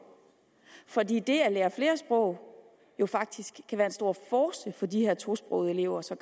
fordi det at lære flere sprog jo faktisk kan være en stor force sågar for de her tosprogede elever så